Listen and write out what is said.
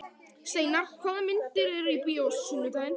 Steinar, hvaða myndir eru í bíó á sunnudaginn?